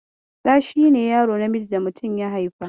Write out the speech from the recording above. Ɗa shi ne yaro namiji da mutum ya haifa.